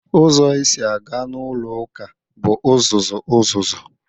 Uzo esi aga n'ulo uka bu uzuzu uzuzu